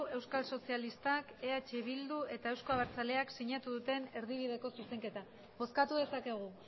euskal sozialistak eh bilduk eta euzko abertzaleak sinatu duten erdibideko zuzenketa bozkatu dezakegu